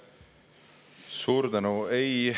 Suur tänu!